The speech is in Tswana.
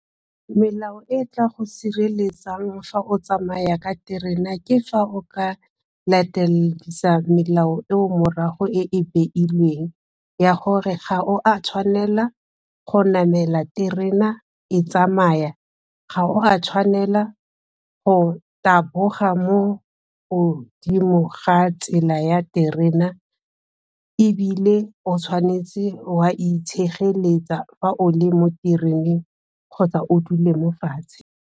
Melao e e tla go sireletsang fa o tsamaya ka terena, ke fa o ka lateledisa melao eo morago e e beilweng ya gore ga o a tshwanela go namela terena e tsamaya, ga o a tshwanela go taboga mo godimo ga tsela ya terena ebile o tshwanetse wa itshegeletsa fa o le mo tereneng kgotsa o dule mo fatshe.